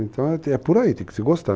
Então, é por aí, tem que se gostar.